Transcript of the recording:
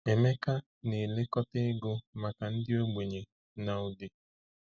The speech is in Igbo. Emeka na-elekọta ego maka ndị ogbenye na Udi.